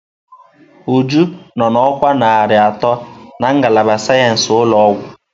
Uju nọ na ọkwa narị atọ na ngalaba sayensị ụlọ ọgwụ.